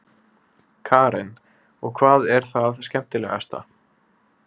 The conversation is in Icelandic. Karen: Og hvað er það skemmtilegasta?